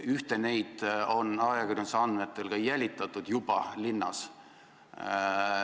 Ühte neist on ajakirjanduse andmetel linnas juba ka jälitatud.